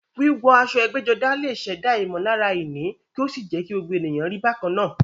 Wíwọ aṣọ ẹgbẹ́jọdá lè ṣẹ̀dá ìmọ̀lára ìní kí ó sì jẹ́ kí gbogbo ènìyàn rí bákan náà.